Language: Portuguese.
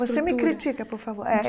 Você me critica, por favor é.